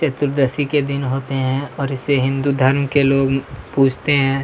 चतुर्दशी के दिन होते हैं और इसे हिंदू धर्म के लोग पूजते हैं |